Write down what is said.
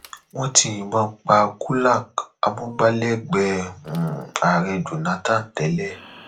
wọn ti yìnbọn pa gulak amúgbálẹgbẹẹ um ààrẹ jonathan tẹlẹ